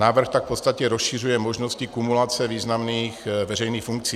Návrh tak v podstatě rozšiřuje možnosti kumulace významných veřejných funkcí.